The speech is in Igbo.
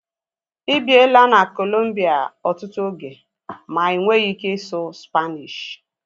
Ịbiela na Kolombia ọtụtụ oge ma inweghi ike ịsụ Spaanishi